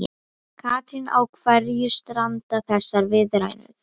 Katrín, á hverju stranda þessar viðræður?